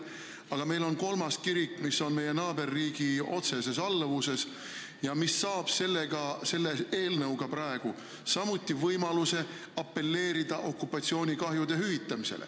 Aga meil on ka kolmas kirik, mis on meie naaberriigi otseses alluvuses ja mis saaks selle eelnõu kohaselt samuti võimaluse taotleda okupatsioonikahjude hüvitamist.